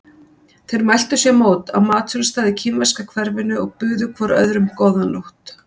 Þeir mæltu sér mót á matsölustað í kínverska hverfinu og buðu hvor öðrum góða nótt.